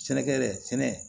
Sɛnɛkɛɛrɛ sɛnɛ